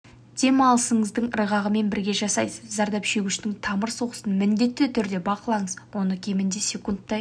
дем алысыңыздың ырғағымен бірге жасайсыз зардап шегушінің тамыр соғысын міндетті түрде бақылаңыз оны кемінде секундтай